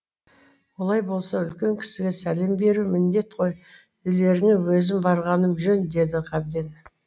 олай болса үлкен кісіге сәлем беру міндет қой үйлеріңе өзім барғаным жөн деді ғабең